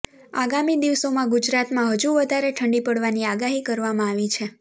આગામી દિવસોમાં ગુજરાતમાં હજુ વધારે ઠંડી પડવાની આગાહી કરવામાં આવી છે